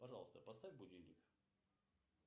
пожалуйста поставь будильник